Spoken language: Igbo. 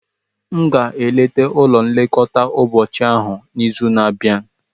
M ga-eleta ụlọ nlekọta ụbọchị ahụ n'izu na-abịa.